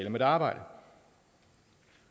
om et arbejde